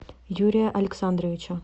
юрия александровича